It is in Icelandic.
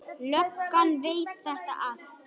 Löggan veit þetta allt.